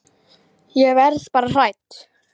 Ég verð bara hrædd.